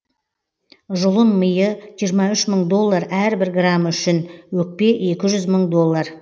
жұлын миы жиырма үш мың доллар әрбір граммы үшін өкпе екі жүз мың доллар